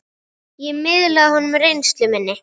Ég miðlaði honum reynslu minni.